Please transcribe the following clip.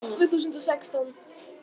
Tvö þúsund og sextán